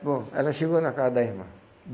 Bom, ela chegou na casa da irmã.